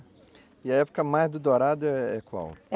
E a época mais do dourado é qual?